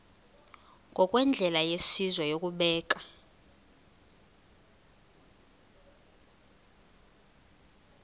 ngokwendlela yesizwe yokubeka